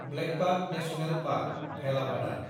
blackbuck national park, Velavadar